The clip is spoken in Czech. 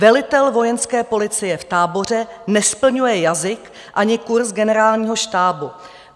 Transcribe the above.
Velitel Vojenské policie v Táboře nesplňuje jazyk ani kurz Generálního štábu.